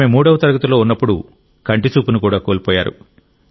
ఆమె మూడవ తరగతిలో ఉన్నప్పుడు కంటి చూపును కూడా కోల్పోయారు